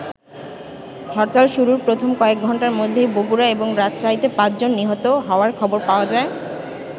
হরতাল শুরুর প্রথম কয়েক ঘন্টার মধ্যেই বগুড়া এবং রাজশাহীতে পাঁচ জন নিহত হওয়ার খবর পাওয়া যায়।